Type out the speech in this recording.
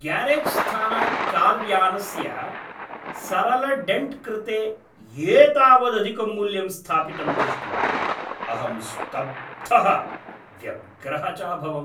ग्यारेज्स्थानात् कार्यानस्य सरलडेण्ट्कृते एतावदधिकं मूल्यं स्थापितं दृष्ट्वा अहं स्तब्धः व्यग्रः च अभवम्।